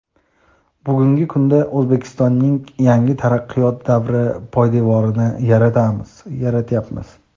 Bugungi kunda O‘zbekistonning yangi taraqqiyot davri poydevorini yaratyapmiz.